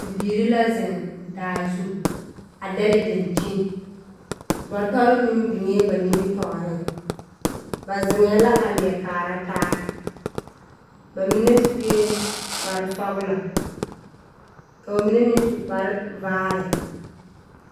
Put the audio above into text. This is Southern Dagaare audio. Bibiiri la zeŋ daazu a dɛle dankyini. Bɔtɔre meŋ biŋee ba nimmitɔɔreŋ. Ba zeŋɛɛ la a leɛ kaara taa. Ba mine sue kpare sɔglɔ, ka ba mine meŋ su kpare vaare.